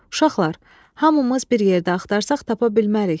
Uşaqlar, hamımız bir yerdə axtarsaq tapa bilmərik.